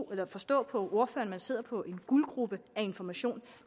kan forstå på ordføreren at sidder på en guldgrube af information